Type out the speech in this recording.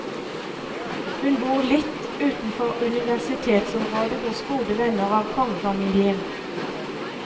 Hun bor litt utenfor universitetsområdet hos gode venner av kongefamilien.